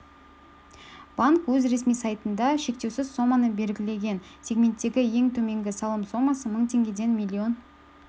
банк өз ресми сайтында шектеусіз соманы белгілеген сегменттегі ең төменгі салым сомасы мың теңгеден миллион